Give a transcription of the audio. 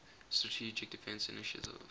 strategic defense initiative